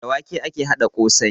Da wake ake haɗa ƙosai